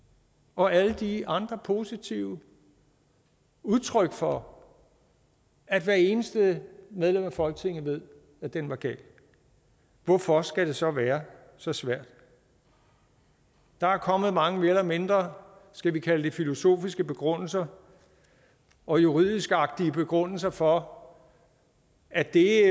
og alle de andre positive udtryk for at hvert eneste medlem af folketinget ved at den var gal hvorfor skal det så være så svært der er kommet mange mere eller mindre skal vi kalde det filosofiske begrundelser og juridisk agtige begrundelser for at det